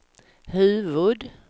huvud-